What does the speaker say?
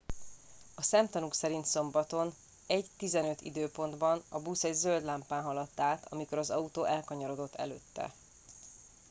a szemtanúk szerint szombaton 01:15 időpontban a busz egy zöld lámpán haladt át amikor az autó elkanyarodott előtte